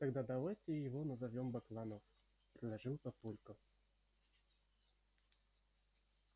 тогда давайте его назовём бакланов предложил папулька